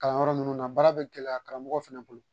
Kalan yɔrɔ ninnu na, baara bɛ gɛlɛya karamɔgɔ fana bolo.